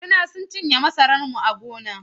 Rina sun cinye masarar mu a gona.